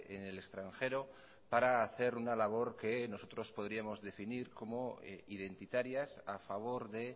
en el extranjero para hacer una labor que nosotros podríamos definir como identitarias a favor de